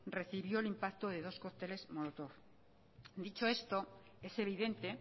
recibió el impacto de dos cócteles molotov dicho esto es evidente